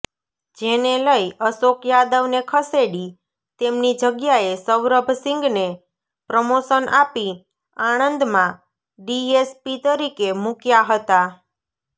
જેને લઈ અશોક યાદવને ખસેડી તેમની જગ્યાએ સૌરભસીંગને પ્રમોશન આપી આણંદમાં ડીએસપી તરીકે મુક્યા હતા